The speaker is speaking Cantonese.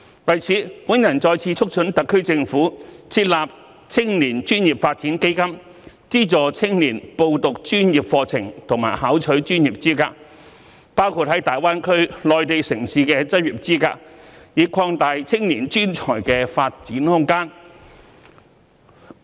為此，我再次促請特區政府設立青年專業發展基金，資助青年報讀專業課程及考取專業資格，包括在大灣區內地城市的執業資格，以擴大青年專才的發展空間。